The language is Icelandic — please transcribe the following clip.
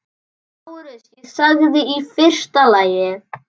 LÁRUS: Ég sagði: í fyrsta lagi.